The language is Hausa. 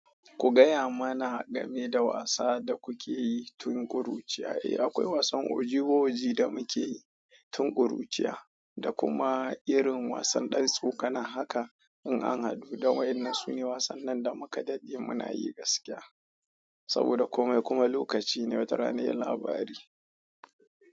Ku gaya mana game da wasa da kuke yi tun ƙuruciya. Eh, akwai wasan ojiwoji da muke yi tun kuruciya da kuma irin wasan ɗan tsokana. Haka, in an haɗu da wayen da sun yi wasan nan da mu ka daɗe muna yi, gaskiya saboda komai kuma lokaci ne, watarana sai labari.